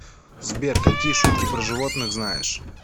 сбер какие шутки про животных знаешь